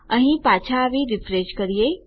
અહીં પાછા આવી રીફ્રેશ કરીએ